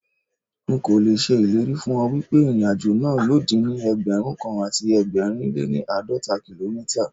Nkò l'èṣe ìlérí fún ọ wípé ìrìn àjò náà yóò dín ní Ẹgbẹ̀rún kan àti ẹgbẹ̀rin lé ní àádọ́ta kìlómítà.